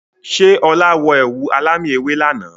Ṣé ọ̀la wọ ẹ̀wù alámì ewé lànà?